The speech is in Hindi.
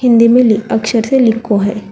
हिंदी में ली अक्षर से लिखो है।